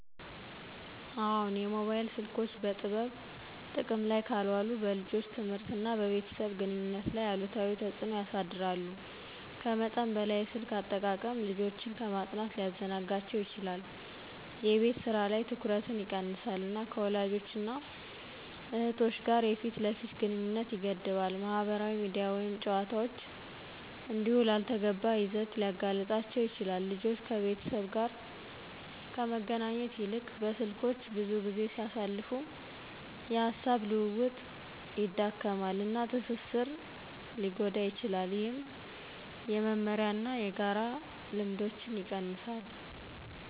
አዎን, የሞባይል ስልኮች በጥበብ ጥቅም ላይ ካልዋሉ በልጆች ትምህርት እና በቤተሰብ ግንኙነት ላይ አሉታዊ ተጽእኖ ያሳድራሉ. ከመጠን በላይ የስልክ አጠቃቀም ልጆችን ከማጥናት ሊያዘናጋቸው ይችላል፣ የቤት ስራ ላይ ትኩረትን ይቀንሳል፣ እና ከወላጆች እና እህቶች እና እህቶች ጋር የፊት ለፊት ግንኙነትን ይገድባል። ማህበራዊ ሚዲያ ወይም ጨዋታዎች እንዲሁ ላልተገባ ይዘት ሊያጋልጣቸው ይችላል። ልጆች ከቤተሰብ ጋር ከመገናኘት ይልቅ በስልኮች ብዙ ጊዜ ሲያሳልፉ፣ የሐሳብ ልውውጥ ይዳከማል፣ እና ትስስር ሊጎዳ ይችላል፣ ይህም የመመሪያ እና የጋራ ልምዶችን ይቀንሳል።